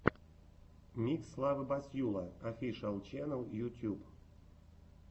микс славы басьюла офишиал ченнэл ютуб